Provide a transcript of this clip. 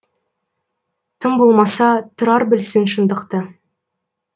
тым болмаса тұрар білсін шындықты